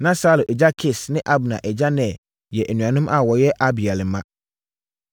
Na Saulo agya Kis ne Abner agya Ner yɛ anuanom a wɔyɛ Abiel mma.